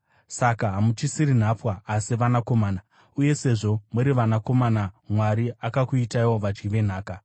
Saka hamuchisiri nhapwa, asi vanakomana; uye sezvo muri vanakomana, Mwari akakuitaiwo vadyi venhaka.